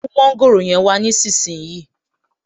Mú mọ́ńgòrò yẹn wá nísinsìnyí